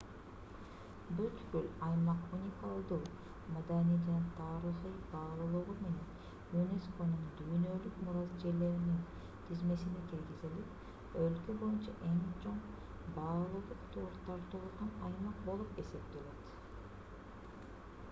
бүткүл аймак уникалдуу маданий жана тарыхый баалуулугу менен юнесконун дүйнөлүк мурас жерлеринин тизмесине киргизилип өлкө боюнча эң чоң баалуулук тартуулаган аймак болуп эсептелет